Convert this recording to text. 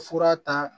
Fura ta